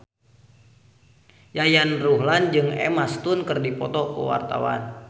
Yayan Ruhlan jeung Emma Stone keur dipoto ku wartawan